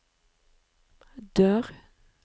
dør